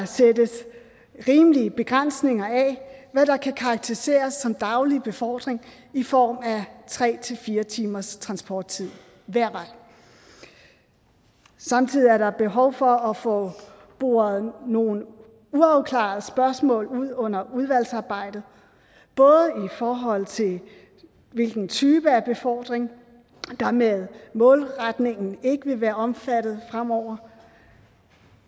sættes rimelige begrænsninger af hvad der kan karakteriseres som daglig befordring i form af tre fire timers transporttid hver vej samtidig er der behov for at få boret nogle uafklarede spørgsmål ud under udvalgsarbejdet både i forhold til hvilken type af befordring der med målretningen ikke vil være omfattet fremover